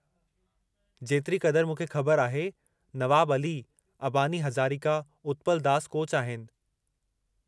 जेतिरे क़दुरु मूंखे ख़बरु आहे, नवाब अली, अबानी हज़ारिका, उत्पल दास कोच आहिनि।